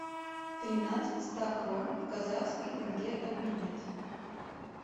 тринадцать ста крон в казахский тенге обменять